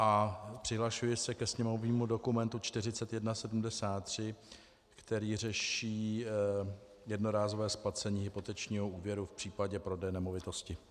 A přihlašuji se ke sněmovnímu dokumentu 4173, který řeší jednorázové splacení hypotečního úvěru v případě prodeje nemovitosti.